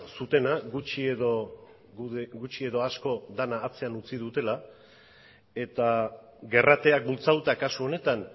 zutena gutxi edo asko dena atzean utzi dutela eta gerrateak bultzatuta kasu honetan